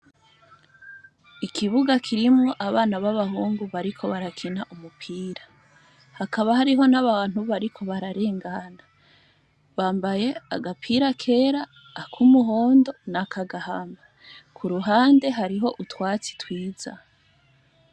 Ikibuga kirimwo abana b'abahungu bariko barakina umupira, hakaba hariho n'abantu bariko bararengana bambaye agapira kera, ak'umuhondo na k'agahama. Ku ruhande hariho utwatsi twiza.